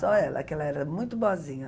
Só ela, que ela era muito boazinha.